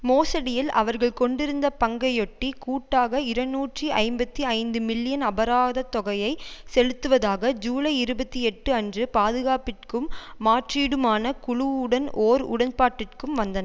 மோசடியில் அவர்கள் கொண்டிருந்த பங்கையொட்டி கூட்டாக இரநூற்றி ஐம்பத்தி ஐந்து மில்லியன் அபராதத் தொகையை செலுத்துவதாக ஜூலை இருபத்தி எட்டு அன்று பாதுகாப்பிற்கும் மாற்றீடுமான குழு உடன் ஓர் உடன்பாட்டிற்கு வந்தன்